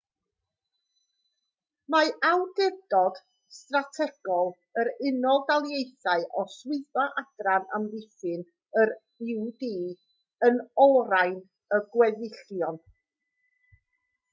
mae awdurdod strategol yr unol daleithiau o swyddfa adran amddiffyn yr ud yn olrhain y gweddillion